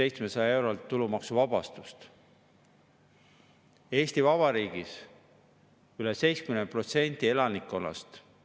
Aastatuluga kuni 14 400 eurot on maksuvaba tulu aastas 7848 eurot, aastatulu kasvades 14 400 eurolt 25 200 euroni väheneb maksuvaba tulu vastavalt valemile ja aastatuluga üle 25 200 euro on maksuvaba tulu 0 eurot.